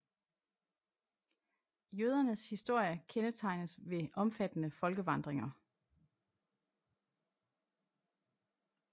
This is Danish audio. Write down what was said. Jødernes historie kendetegnes ved omfattende folkevandringer